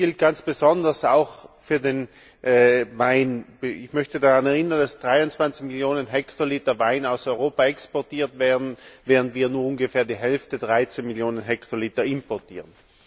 Das gilt ganz besonders auch für den Wein. Ich möchte daran erinnern, dass 23 Millionen Hektoliter Wein aus Europa exportiert werden, während wir nur ungefähr die Hälfte, 13 Millionen Hektoliter, importieren.